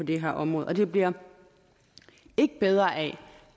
det her område og det bliver ikke bedre af